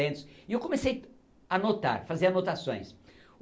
E eu comecei a notar, fazer anotações.